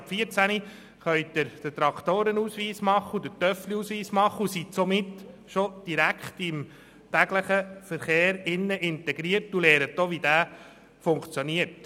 Ab vierzehn Jahren können sie den Traktoren- und den Mofaausweis erwerben, sind somit im täglichen Verkehr integriert und lernen, wie er funktioniert.